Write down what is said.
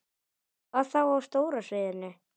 Hvað þá á stóra sviðinu?